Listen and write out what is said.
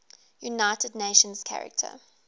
united nations charter